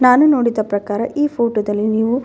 ನಾನು ನೋಡಿದ ಪ್ರಕಾರ ಈ ಫೋಟೋದಲ್ಲಿ ನೀವು--